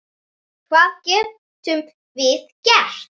Hvað getum við gert?